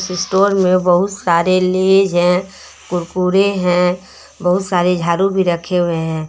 Store में बहुत सारे लेज है कुरकुरे हैं बहुत सारे झाड़ू भी रखे हुए है।